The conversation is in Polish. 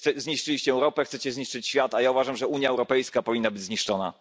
Zniszczyliście Europę, chcecie zniszczyć świat, a ja uważam, że Unia Europejska powinna być zniszczona.